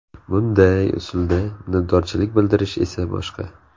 Bunday usulda minnatdorchilik bildirish esa boshqa.